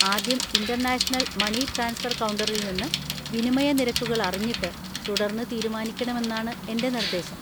ആദ്യം international money transfer കൗണ്ടറിൽ നിന്ന് വിനിമയ നിരക്കുകൾ അറിഞ്ഞിട്ട് തുടർന്ന് തീരുമാനിക്കണമെന്നാണ് എന്‍റെ നിർദ്ദേശം.